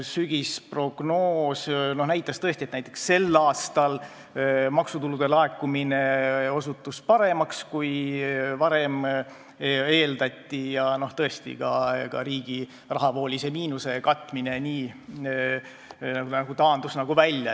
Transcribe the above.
Sügisprognoos näitas, et näiteks sel aastal osutus maksutulude laekumine paremaks, kui varem eeldati, ja ka riigi rahavoolise miinuse katmine n-ö taandus välja.